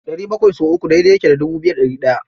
ɗari bakwai sau uku daidai yake da dubu biyu da ɗari ɗaya.